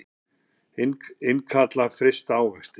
Innkalla frysta ávexti